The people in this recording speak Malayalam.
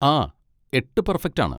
ആ, എട്ട് പെർഫെക്റ്റ് ആണ്.